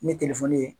Ni telefɔni ye